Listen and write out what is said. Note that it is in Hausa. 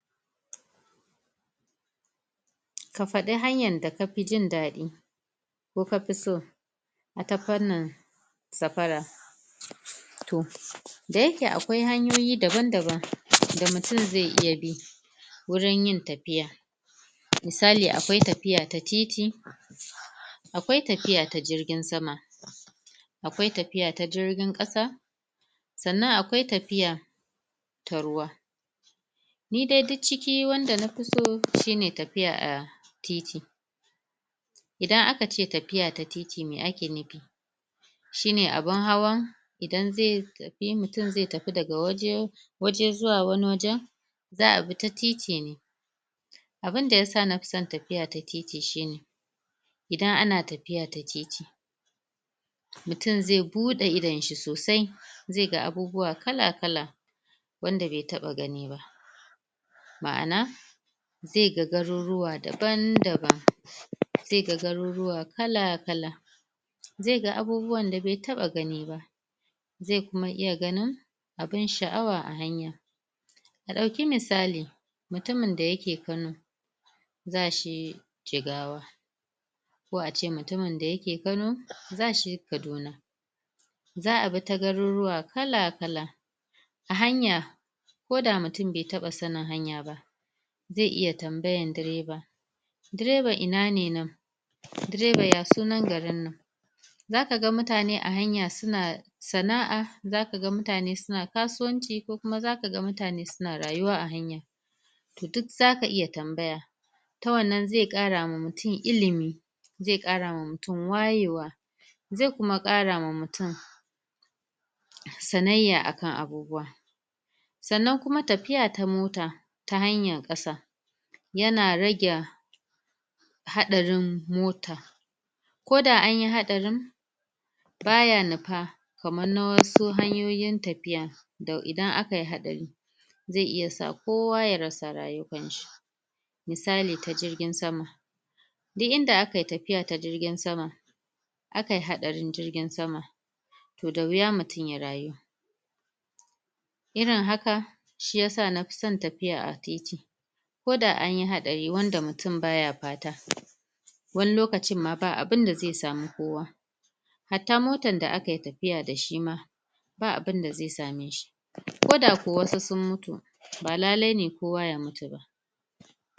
Ka fadi hanya da ka fi jindadi ko kafi so a ta fanar sapara toh da ya ke akwai hanyoyi daban-daban da mutum zai iya bi, wurin yin tafiya misali akwai tafiya ta titi, akwai tafiya ta jirgin sama akwai tafiya ta jirgin kasa tsannan akwai tafiya ta ruwa ni dai duk ciki wanda na fi so ita ne tafiya 'a titi. Idan a ka ce tafiya ta titi mai a ke nufi shi ne abun hawan idan zai tafi, mutum zai tafi da ga waje waje zuwa wani wajen, za'a bi ta titi ne. abunda ya fi sa na fi san tafiya ta titi shi ne idan a na tafiya ta titi, mutum zai buda idon shi sosai zai ga abubuwa kala-kala, wanda bai taba gani ba. Ma'ana zai ga garuruwa daban-daban zai ga garuruwa kala-kala zai ga abubuwa da be taba gani ba zai kuma iya ganin, abun sha'awa 'a hanya ka dauki misali, mutumin da ya ke kallo za shi Jigawa ko ace mutumin da ya ke Kano, za shi Kaduna. za'a bi ta garuruwa kala-kala a hanya ko da mutum be taba sannin hanya ba zai iya tambayan dreva drevar ina ne nan dreva ya sunan garin nan za ka gan mutane a hanya su na sana'a za ka gan mutane su na kasuwanci ko kuma za ka ga mutane su na rayuwa 'a hanya. Toh duk za ka iya tambaya ta wannan zai kara ma mutum ilimi zai kara ma mutum wayewa, zai kuma kara ma mutum tsananya a kan abubuwa tsannan kuma tafiya ta mota, ta hanyar kasa ya na rage haɗarin mota ko da anyi haɗarin ba ya nupa, kaman na wasu hanyoyin tafiya dan idan a ka yi haɗari zai iya samu kowa ya rasa rayuwar shi misali ta jirgin sama duk inda a ka yi tafiya ta jirgin sama a ka yi haɗarin jirgin sama toh da wuya mutum ya rayu Irin haka, shi ya sa na fi san tafiya 'a titi. ko da an yi haɗari wanda mutum ba ya pata wani lokacin ma, ba abinda zai samu kowa hata mota da a ka yi tafiya da shi ma ba abinda zai same shiko da ko wasu sun mutu ba lallai ne kowa ya mutu ba